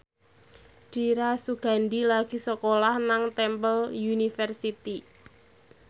Dira Sugandi lagi sekolah nang Temple University